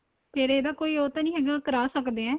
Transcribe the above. ਫ਼ੇਰ ਇਹਦਾ ਕੋਈ ਉਹ ਤਾਂ ਨਹੀਂ ਹੈਗਾ ਕਰਾ ਸਕਦੇ ਏ